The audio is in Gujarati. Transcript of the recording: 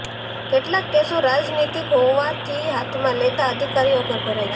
કેટલાક કેસો રાજનીતિક હોવાથી હાથમાં લેતા અધિકારીઓ ગભરાય છે